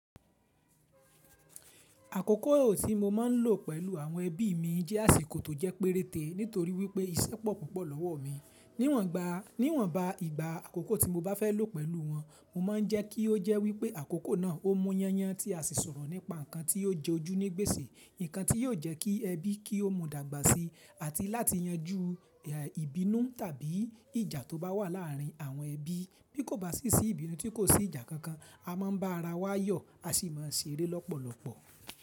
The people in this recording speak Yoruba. Àkókò tí mo máa ń lò pẹ̀lú àwọn ẹbí mi jẹ́ àsìkò tó jẹ́ péréte nítorí wípé ìṣẹ́ pọ̀ púpọ̀ lọ́wọ́ mi. Níwọ̀nba, níwọ̀nba ìgbà àkókò tí mo bá fẹ́ lò pẹ̀lú wọn, mo máa ń jẹ́ kí ó jẹ́ wípé àkókò náà ó mú yányán tí a sì sọ̀rọ̀ nípa nǹkan tí ó jẹ ojú ní gbèsè, nǹkan tí yóò jẹ́ kí ẹbí kí ó mọ dàgbà sí àti láti yanjú ìbínú tàbí ìjà tó bá wà láàrin àwọn ẹbí. Bí kò bá sí sí ìbínú tí kò sí ìjà kankan, a máa ń bá ara wa yọ̀, a sì máa ń ṣeré lọ́pọ̀lọpọ̀.